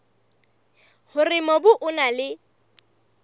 hore mobu o na le